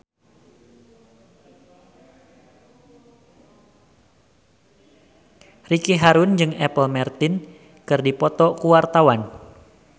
Ricky Harun jeung Apple Martin keur dipoto ku wartawan